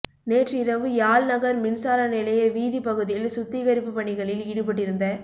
நேற்று இரவு யாழ் நகர் மின்சார நிலைய வீதிப் பகுதியில் சுத்திகரிப்பு பணிகளில் ஈடுபட்டிருந்த